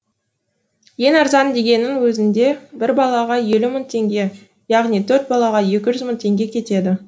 ең арзан дегеннің өзінде бір балаға елу мың теңге яғни төрт балаға екі жүз мың теңге кетеді